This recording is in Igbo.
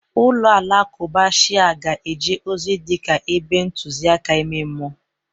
Ụlọ alakụba Shia ga-eje ozi dịka ebe ntụzịaka ime mmụọ.